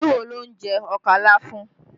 Ìlú wo ló ń jẹ ọkà láfún?